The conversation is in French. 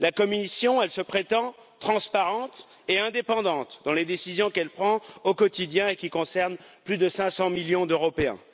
La Commission, elle, se prétend transparente et indépendante dans les décisions qu'elle prend au quotidien et qui concernent plus de 500 millions d'Européens.